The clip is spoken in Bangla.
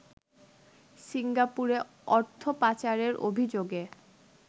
সিঙ্গাপুরে অর্থপাচারের অভিযোগে